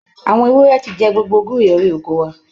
Àwọn ewúrẹ́ ti jẹ gbogbo gúre orí oko wa.